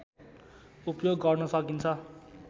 उपयोग गर्न सकिन्छ